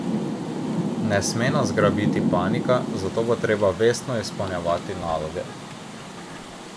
Ne sme nas zgrabiti panika, zato bo treba vestno izpolnjevati naloge.